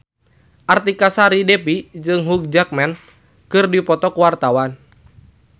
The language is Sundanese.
Artika Sari Devi jeung Hugh Jackman keur dipoto ku wartawan